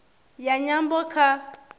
ya nyambo kha